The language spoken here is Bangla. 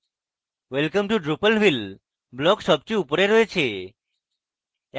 welcome to drupalville block সবচেয়ে উপরে রয়েছে